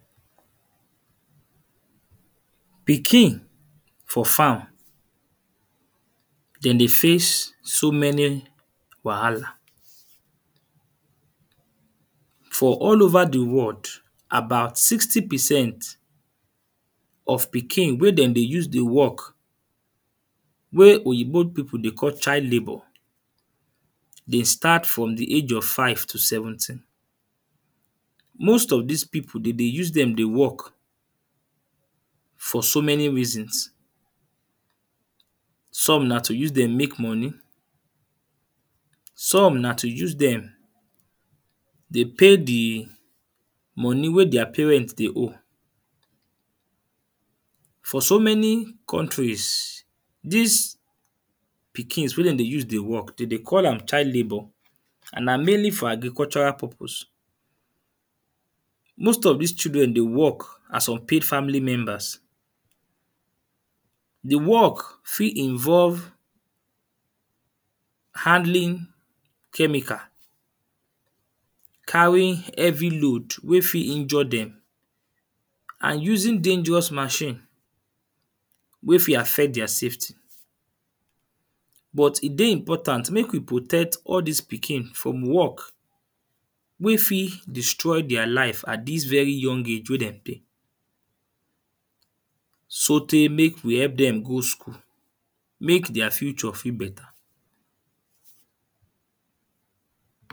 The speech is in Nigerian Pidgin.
Pikin for farm dem dey face so many wahala. For all over the world, about sixty percent of pikin wey dem dey use dey work wey Oyinbo people dey call child labour dey start from the age of five to seventeen. Most of dis people, dem dey use dem dey work for so many reasons. Some na to use dem make money. Some na to use dem dey pay the money wey their parents dey owe. For so many countries, dis pikins wey dem dey use dey work, de dey call am child labour and na mainly for agricultural purpose. Most of dis children dey work as unpaid family members. The work fit involve handling chemical. Carry heavy load wey fit injure dem and using dangerous machine wey fit affect their safety. But e dey important make you protect all dis pikin from work wey fit destroy their life at dis very young age wey dem dey. So tey make we help dem go school, make their future fit better.